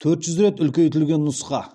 төрт жүз рет үлкейтілген нұсқа